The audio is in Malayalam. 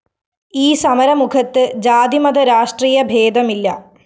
ഈ സമരമുഖത്ത്‌ ജാതിമത രാഷ്ട്രീയഭേദമില്ല